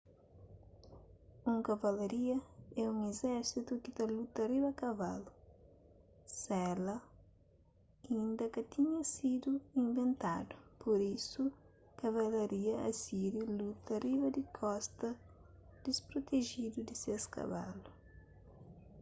un kavalaria é un izérsitu ki ta luta riba kavalu sela inda ka tinha sidu inventadu pur isu kavalaria asíriu luta riba di kosta disprotejidu di ses kavalu